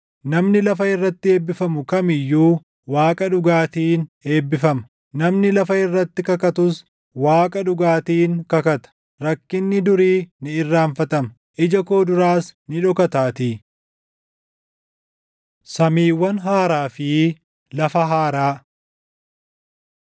Namni lafa irratti eebbifamu kam iyyuu, Waaqa dhugaatiin eebbifama; namni lafa irratti kakatus, Waaqa dhugaatiin kakata. Rakkinni durii ni irraanfatama; ija koo duraas ni dhokataatii. Samiiwwan Haaraa fi Lafa Haaraa